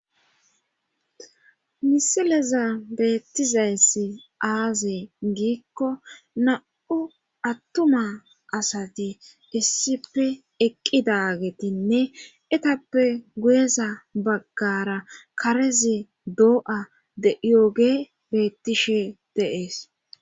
Misileza beettizayssi aaze giikko na'u attuma asati issipe eqqidagetinne etappe guyeza baggara karezi doo'a deyooge bettishe deees